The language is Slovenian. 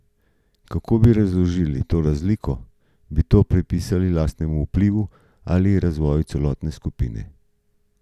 Kako bi razložili to razliko, bi to pripisali lastnemu vplivu ali razvoju celotne skupine?